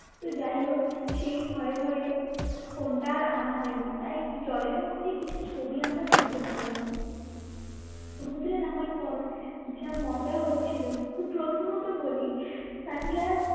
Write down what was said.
তো যাই হোক সেই ভয়ে ভয়ে ফোনটা আর আনা হয়নি তাই জলের মধ্যে কিছু ছবি আমরা তুলতে পারিনি সমুদ্রে নামার পর যা মজা হচ্ছিল প্রথমত বলি sunglass